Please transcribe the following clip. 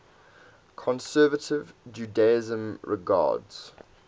conservative judaism regards